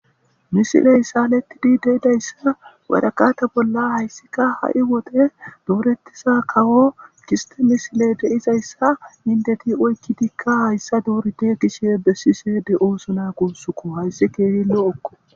Misiley saalettidi deidayssa wadakata bolla hayssika ha7i wode doorettisa kawo giste misile de7izayssa hindeti oykkidikka hayssa doorite kishe bessi seede ooso naa kussuko hayssi keehi lo7okko